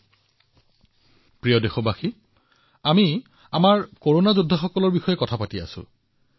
মোৰ মৰমৰ দেশবাসীসকল আমি আমাৰ কৰোনা যোদ্ধাৰ বিষয়ে কথা পাতি আছিলো